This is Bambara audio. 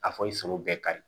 A fɔ i sogo bɛɛ kari